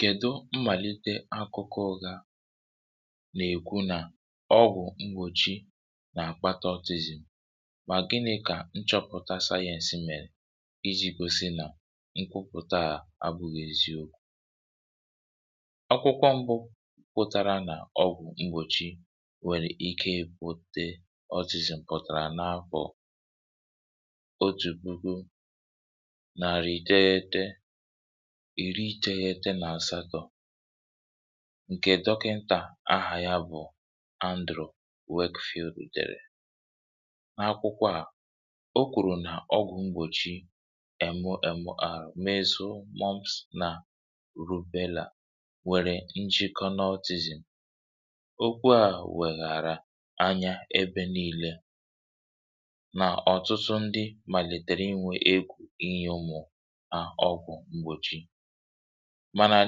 kèdo mmàlite akụkọ ụga nà-èkwu nà ọgwụ̀ mgbòchi nà-àkpata ótizì um mà gịnị̇ kà nchọ̀pụ̀ta sayẹ̇nsị mèrè iji̇ kwèsi nà nkwụpụ̀ta à agbụghịziȧ okwu ọgwụ̀kwụ̀kwọ mbụ pụtara nà ọgwụ̀ mgbòchi nwèrè ike ekwute ótizì m̀ kpụtàrà n’afọ̀ ìri tegheta nà àsakọ̇ ǹkè dọkịntà ahà ya bụ̀ androde field field dèrè n’akwụkwọ à o kwùrù nà ọgwụ̀ mgbòchi emu emu à mezu, mọmns nà rubelà nwèrè njikọ n’ọtịzì okwu ahụ̀ wèghàrà anya ebe niilė nà ọ̀tụtụ ndị mà lètèrè i nwee à ọgwụ̀ m̀gbòchi mànà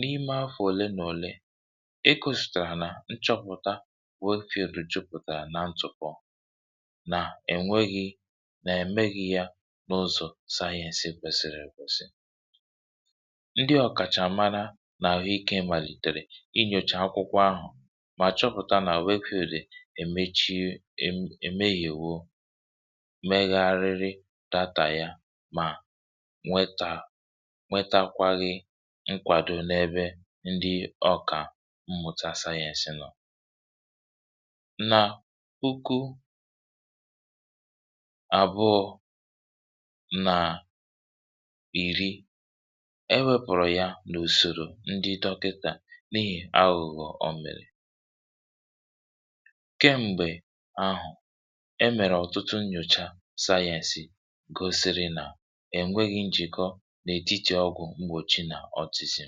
n’ime afọ̀ òle nà òle ekȯsìtàrà nà nchọpụ̀ta way fara jupụ̀tàrà nà ntụ̀kwọ nà è nweghị nà èmehi̇ ya n’ụzọ̀ sayẹ̇sị kwèsìrì èkwèsì um ndị ọ̀kàchàmara nà n’akwụkwọ ịkė mà lìtèrè inyòchà akwụkwọ ahụ̀ mà chọpụ̀ta nà way fara èmechiė ème yȧ èwo megharịrị data ya mà nwetà nwetakwaghị nkwàdo n’ebe ndị ọkà mmụ̀ta sayensị nọ̀ nà ukwu àbụọ̇ nà pìri e wėpụ̀rụ̀ ya nà ùsòrò ndị dọkịtà n’ihì aghụ̀gbọ̀ òmèrè kem̀gbè ahụ̀ e mèrè ọ̀tụtụ nnyòcha sayensị gosiri nà n’ètitì ọgwụ̀ mgbòchi nà ótisiì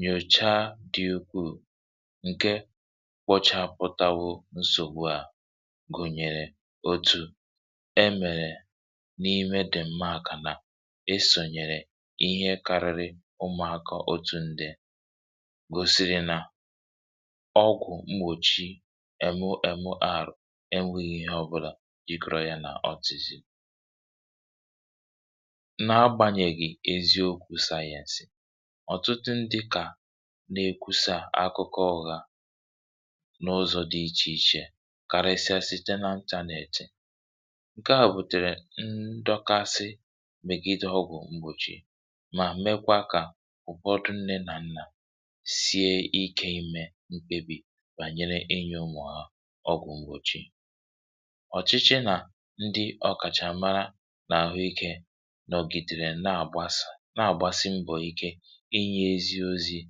nyòcha dị okwuù ǹke kwọchà pụtawụ̀ nsògbu à gùnyèrè otu e mèrè n’ime dị̀ mma àkà na e sònyèrè ihe karịrị ụmụ̀ akọ̀ otu um ndị̇ gòsiri nà ọgwụ̀ mgbòchi èmu èmu ahụ̀ enweghi ihe ọbụlà yikrọ̇ yȧ nà ótisiì n’agbànyèghì eziokwu̇ sayensì ọ̀tụtụ ndị kà na-ekwu̇sà akụkọ ọhȧ n’ụzọ̇ dị ichè ichè karịsịa site n’antà neetì ǹke à bùtèrè ndọkasị mị̀gịdọ̇ ọgwụ̀ mgbòchi mà mekwa kà ụ̀bọtụ nne nà nnà sie ikė imė mkpebì bànyere enyė ụmụ̀ ha ọgwụ̀ mgbòchi ọ̀chịchị nà ndị ọkàchàmara nà àhụ ikė na-àgbàsị mbọ̀ ike inye eziozi̇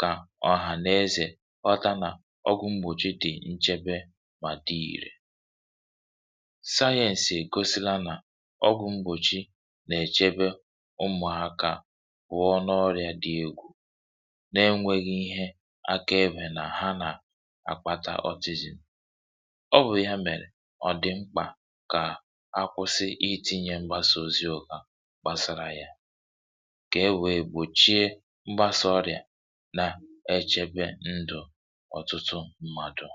kà ọhà n’ezè ghọta nà ọgwụ̇ mgbòchi dị̀ nchebe mà dị ìrè um sayẹǹsì gosila nà ọgwụ̇ mgbòchi nà-èchebe ụmụ̀ akȧ gwụ̀ọ n’ọrị̀a dị egwù na-enwėghi ihe akaėbè nà ha nà-akpata ọtịzìn ọ bụ̀ ya mèrè ọ̀ dị̀ mkpà kà ha kwụsị iti̇nyė mgbasa oziokȧ kà e wèe gbòchie mgbasọọrịà na-echėbe ndụ̀ ọ̀tụtụ ndụ̀